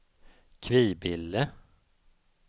Kvibille